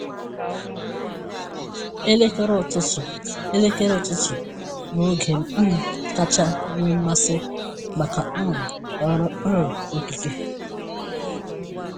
Elekere ụtụtụ Elekere ụtụtụ bụ oge m um kacha nwee mmasị maka um ọrụ um okike.